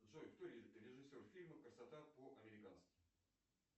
джой кто режиссер фильма красота по американски